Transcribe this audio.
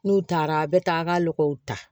N'u taara a bɛ taa a ka lɔgɔw ta